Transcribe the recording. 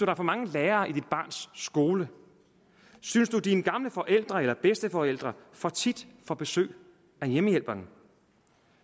er for mange lærere i dit barns skole synes du at dine gamle forældre eller bedsteforældre for tit får besøg af hjemmehjælperen